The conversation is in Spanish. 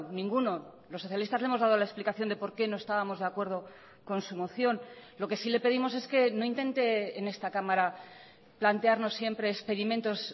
ninguno los socialistas le hemos dado la explicación de por qué no estábamos de acuerdo con su moción lo que sí le pedimos es que no intente en esta cámara plantearnos siempre experimentos